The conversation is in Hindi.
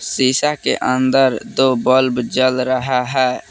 शीशा के अंदर दो बल्ब जल रहा है।